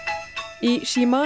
í